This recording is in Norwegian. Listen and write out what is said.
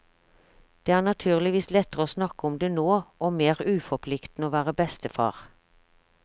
Det er naturligvis lettere å snakke om det nå, og mer uforpliktende å være bestefar.